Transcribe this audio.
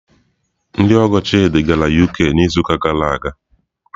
Ndị ọgọ Chidị gara UK n'izuụka gara aga.